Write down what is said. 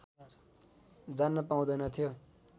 जान्न पाउँदैनथ्यो